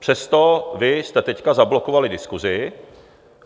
Přesto vy jste teď zablokovali diskusi.